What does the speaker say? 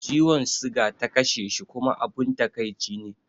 Ciwon siga ta kashe shi kuma abun takaici ne